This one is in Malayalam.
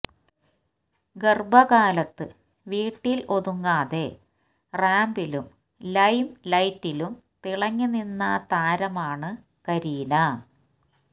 ഗർഭകാലത്ത് വീട്ടിൽ ഒതുങ്ങാതെ റാമ്പിലും ലൈംലൈറ്റിലും തിളങ്ങി നിന്ന താരമാണ് കരീന